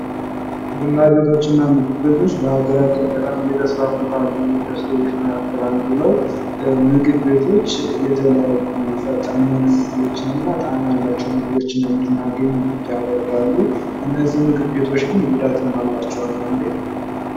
ቡና ቤቶችና ምግብ ቤቶች በሀገራችን በጣም እየተስፋፉ ካሉ እንደስትሪዎች ምካከል አንደዱ ነው። ምግብ ቤቶች የተለያዩ ፈጣን የሆኑ ምግቦች እና ጣዕም ያላቸው ምግቦችን እንድናገኝ ያደርጋሉ እነዚህ ምግብ ቤቶች ግን ጉዳትም አላቸው አንዳንዴ።